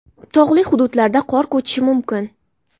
Tog‘li hududlarda qor ko‘chishi mumkin.